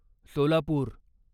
Solapur